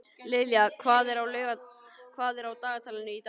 Liljá, hvað er á dagatalinu í dag?